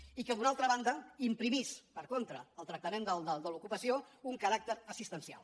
i que d’una altra banda imprimís per contra al tractament de l’ocupació un caràcter assistencial